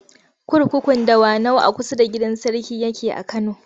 Kurkukun Dawanau a kusa da gidan sarki yake a Kano.